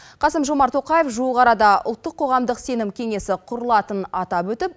қасым жомарт тоқаев жуық арада ұлттық қоғамдық сенім кеңесі құрылатынын атап өтіп